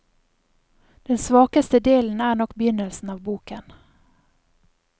Den svakeste delen er nok begynnelsen av boken.